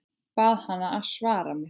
Bað hana að svara mér.